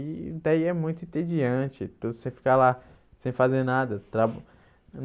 E daí é muito entediante tudo, você ficar lá sem fazer nada.